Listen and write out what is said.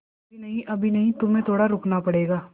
अभी नहीं अभी नहीं तुम्हें थोड़ा रुकना पड़ेगा